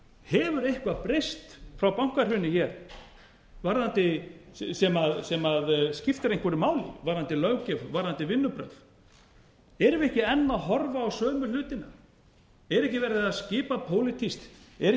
hefur eitthvað breyst frá bankahruni hér sem skiptir einhverju máli varðandi löggjöf og varðandi vinnubrögð erum við ekki enn að horfa á sömu hlutina er ekki verið að skipa pólitískt er ekki